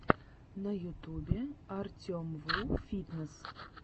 на ютюбе артемвуфитнесс